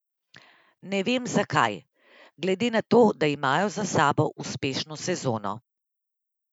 Ne vem, zakaj, glede na to, da imajo za sabo uspešno sezono.